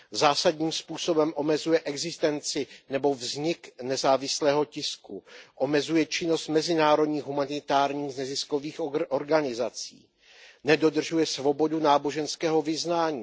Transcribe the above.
Zásadním způsobem omezuje existenci nebo vznik nezávislého tisku, omezuje činnost mezinárodních humanitárních neziskových organizací. Nedodržuje svobodu náboženského vyznání.